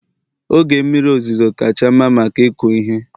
oge mmiri ozuzo kacha mma maka ịkụ ihe